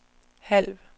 halv